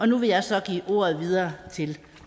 nu vil jeg så give ordet videre til